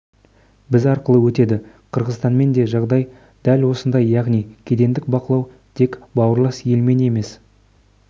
біз арқылы өтеді қырғызстанмен де жағдай дәл осындай яғни кедендік бақылау тек бауырлас елмен емес